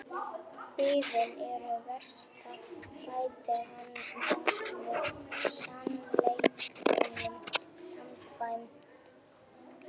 Biðin er verst bætti hann svo við sannleikanum samkvæmt.